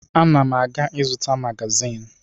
Ana m a ga-ịzụta magazịn.